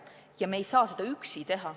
Ja me ei saa seda üksi teha.